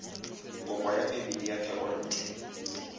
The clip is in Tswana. kopo ya phemiti ya thekontle